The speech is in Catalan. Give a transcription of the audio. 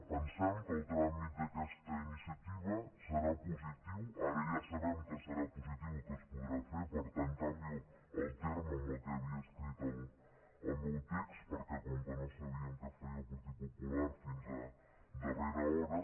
pensem que el tràmit d’aquesta iniciativa serà positiu ara ja sabem que serà positiu i que es podrà fer per tant canvio el terme amb què havia escrit el meu text perquè com que no sabíem què faria el partit popular fins a darrera hora